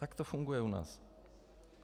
Tak to funguje u nás.